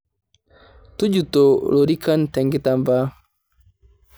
Tujuto lorikan te kitambaa.